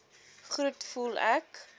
groet voel ek